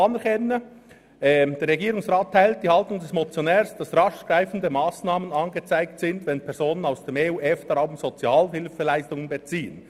Er sagt: «Der Regierungsrat teilt die Haltung des Motionärs, dass rasch geeignete Massnahmen angezeigt sind, wenn Personen aus dem EU/EFTA-Raum Sozialhilfeleistungen beziehen.